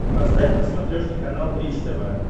поставь на смотрешке канал бридж тв